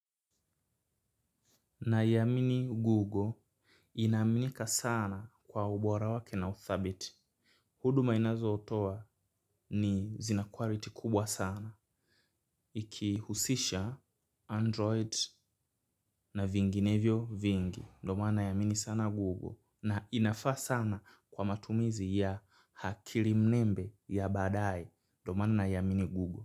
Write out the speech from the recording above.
Naiamini goggle inaaminika sana kwa ubora wake na uthabiti. Huduma inazotoa zina quality kubwa sana. Ikihusisha android na vinginevyo vingi. Ndiyo maana naiamini sana goggle. Na inafaa sana kwa matumizi ya akili mnembe ya baadaye. Ndoma na yamini gugo.